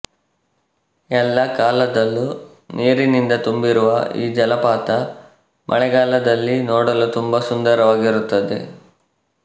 ಎಲ್ಲಾ ಕಾಲದಲ್ಲೂ ನೀರಿನಿಂದ ತುಂಬಿರುವ ಈ ಜಲಪಾತ ಮಳೆಗಾಲದಲ್ಲಿ ನೋಡಲು ತುಂಬಾ ಸುಂದರವಾಗಿರುತ್ತದೆ